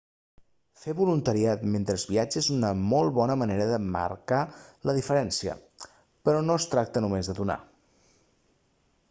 fer voluntariat mentre es viatja és una molt bona manera de marcar la diferència però no es tracta només de donar